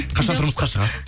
қашан тұрмысқа шығасыз